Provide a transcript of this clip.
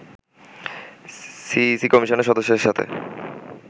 CEC কমিশনের সদস্যদের সাথে